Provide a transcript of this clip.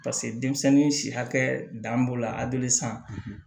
Paseke denmisɛnnin si hakɛ dan b'o la aberesan